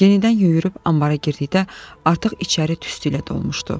Yenidən yüyürüb ambara girdikdə artıq içəri tüstü ilə dolmuşdu.